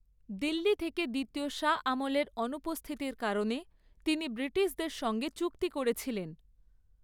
দিল্লি থেকে দ্বিতীয় শাহ আলমের অনুপস্থিতির কারণে তিনি ব্রিটিশদের সঙ্গে চুক্তি করেছিলেন।